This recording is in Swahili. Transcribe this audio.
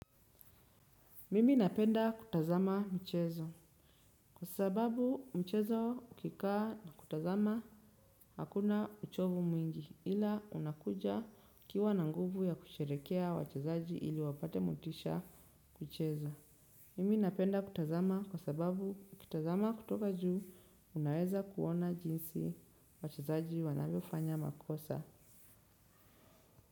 Mimi napenda kutazama mchezo. Kwa sababu mchezo ukikaa na kutazama hakuna uchovu mwingi ila unakuja ukiwa na nguvu ya kusherekea wachezaji ili wapate motisha kucheza. Mimi napenda kutazama kwa sababu kutazama kutoka juu unaweza kuona jinsi wachezaji wanavyofanya makosa.